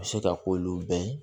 A bɛ se ka k'olu bɛɛ ye